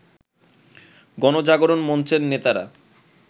গণজাগরণ মঞ্চের নেতারা